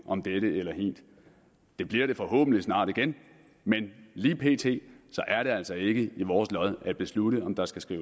om dette eller hint det bliver det forhåbentlig snart igen men lige pt er det altså ikke i vores lod at beslutte om der skal skal